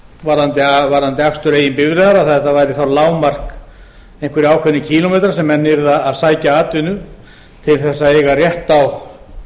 varðandi akstur eigin bifreiðar að þetta væri þá lágmark einhverjir ákveðnir kílómetrar sem menn yrðu að sækja atvinnu til þess að eiga rétt á